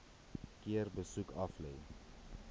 keer besoek aflê